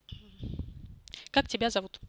как тебя зовут